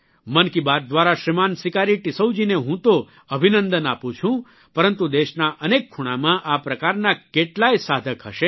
મનકી બાત દ્વારા શ્રીમાન સિકારી ટિસ્સૌ જી ને હું તો અભિનંદન આપું છું પરંતુ દેશના અનેક ખૂણામાં આ પ્રકારના કેટલાય સાધક હશે